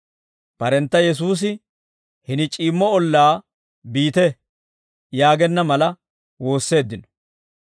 Barentta Yesuusi, «Hini c'iimmo ollaa biite» yaagenna mala woosseeddino.